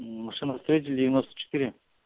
машиностроителей девяносто четыре